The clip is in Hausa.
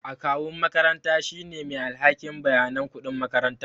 Akawun makaranta shine mai alhakin bayanan kuɗin makaranta